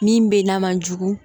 Min bɛ na man jugu